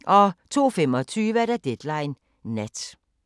02:25: Deadline Nat